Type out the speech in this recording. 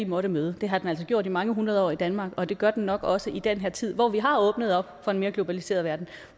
måtte møde det har den altså gjort i mange hundrede år i danmark og det gør den nok også i den her tid hvor vi har åbnet op for en mere globaliseret verden